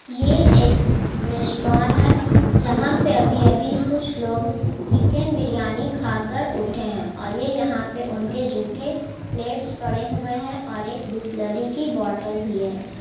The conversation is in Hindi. ये एक रेस्ट्रोन है जहां पे अभी-अभी कुछ लोग चिकिन बिरयानी खाकर उठे है और ये यहाँ पे उनके झूठे प्लेट्स पड़े हुए है और एक बिसलेरी की बोटल भी है।